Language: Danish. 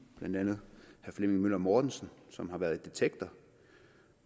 blandt andet herre flemming møller mortensen som har været i detektor